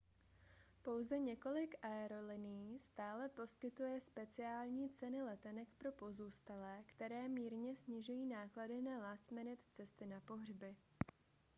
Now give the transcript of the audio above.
pouze několik aerolinií stále poskytuje speciální ceny letenek pro pozůstalé které mírně snižují náklady na last-minute cesty na pohřby